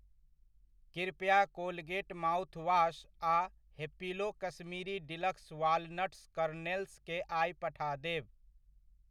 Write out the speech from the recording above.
कृपया Colgate mouthwash आ Happilo Kashmiri deluxe walnuts करनेल्सकेँ आइ पठा देब।